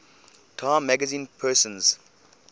time magazine persons